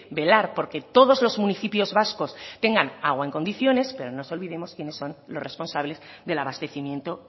velar porque todos los municipios vascos tengan agua en condiciones pero no nos olvidemos quiénes son los responsables del abastecimiento